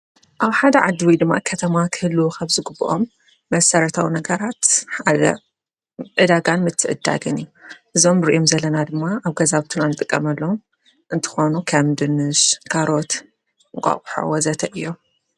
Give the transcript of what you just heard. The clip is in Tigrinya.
ኣብ ሓደ ዓድዊይ ድማ ከተማ ክህሉ ኸብ ዝ ጕብኦም መሠረታዊ ነገራት ሓደ ዕዳጋን ምትዕድዳግን እዞም ንርዩም ዘለና ድማ ኣብ ገዛብቱን ኣንጥቀመሎም እንትኾኑ ከምድንሽ ጋሮት ቋቝሕወዘተ እዮም።